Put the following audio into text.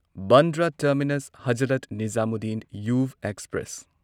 Bandra terminus Hazrat Nizamuddin Yuva express